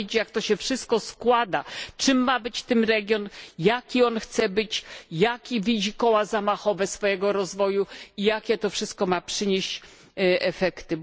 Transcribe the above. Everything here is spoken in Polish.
Trzeba wiedzieć, jak to się wszystko składa czym ma być ten region, jaki on chce być, jakie widzi koła zamachowe swojego rozwoju i jakie to wszystko ma przynieść efekty.